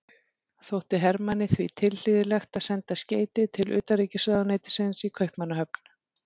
Þótti Hermanni því tilhlýðilegt að senda skeyti til utanríkisráðuneytisins í Kaupmannahöfn.